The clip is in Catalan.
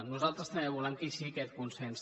nosaltres també volem que hi sigui aquest consens